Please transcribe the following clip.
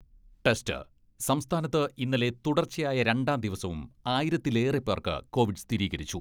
Test, സംസ്ഥാനത്ത് ഇന്നലെ തുടർച്ചയായ രണ്ടാം ദിവസവും ആയിരത്തിലേറെപ്പേർക്ക് കോവിഡ് സ്ഥിരീകരിച്ചു.